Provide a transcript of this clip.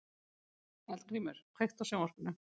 Eldgrímur, kveiktu á sjónvarpinu.